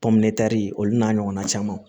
olu n'a ɲɔgɔnna camanw